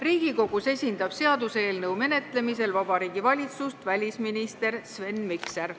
Riigikogus esindab seaduseelnõu menetlemisel Vabariigi Valitsust välisminister Sven Mikser.